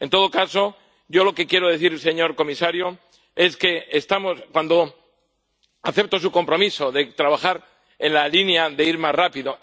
En todo caso, yo lo que quiero decir, señor comisario, es que acepto su compromiso de trabajar en la línea de ir más rápido.